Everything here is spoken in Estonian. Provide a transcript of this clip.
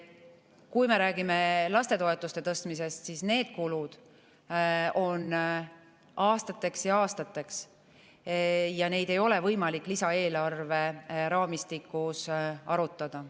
Kui me räägime lastetoetuste tõstmisest, siis need kulud on aastateks ja aastateks ja neid ei ole võimalik lisaeelarveraamistikus arutada.